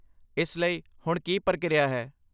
ਇਸ ਲਈ, ਹੁਣ ਕੀ ਪ੍ਰਕਿਰਿਆ ਹੈ?